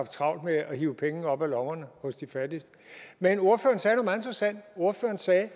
travlt med at hive penge op af lommerne hos de fattigste men ordføreren sagde